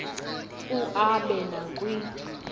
u aabe nakwi